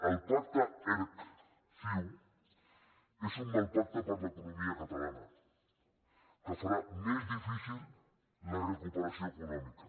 el pacte erc ciu és un mal pacte per a l’economia catalana que farà més difícil la recuperació econòmica